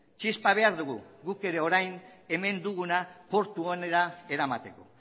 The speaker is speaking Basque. txispa behar dugu guk ere orain hemen duguna portu onera eramateko